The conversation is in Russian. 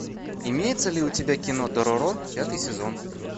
имеется ли у тебя кино дороро пятый сезон